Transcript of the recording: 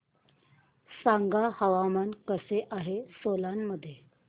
सांगा हवामान कसे आहे सोलान मध्ये